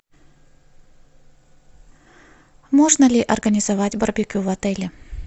можно ли организовать барбекю в отеле